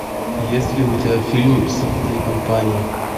есть ли у тебя фильм санта и компания